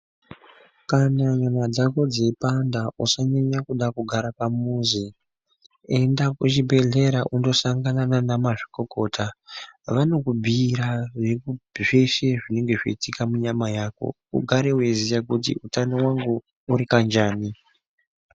Kana nyama dzako dzeipanda usanyanya kuda kugara pamuzi, enda kuchibhedhlera undosangana nanamazvikokota vanokubhiira veiku zveshe zvinenge zvichiitika munyama mako, ugare wechiziya kuti utano hwangu huri kanjani.